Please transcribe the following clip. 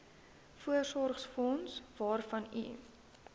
voorsorgsfonds waarvan u